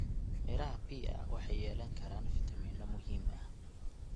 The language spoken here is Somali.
Midhaha pear waxay yeelan karaan fitamiinno muhiim ah.